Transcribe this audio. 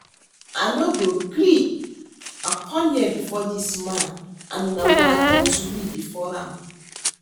I no go gree, I come here before dis man and una go at ten d to me before am